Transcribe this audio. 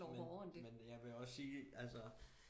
Men men jeg vil også sige altså